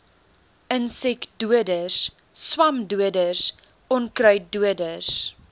insekdoders swamdoders onkruiddoders